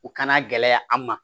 U kana gɛlɛya an ma